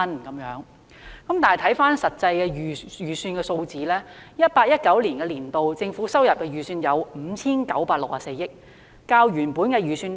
然而，看回實際的預算數字，在 2018-2019 年度，政府收入的預算為 5,964 億元，較原本的預算低。